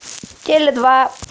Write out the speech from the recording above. теле два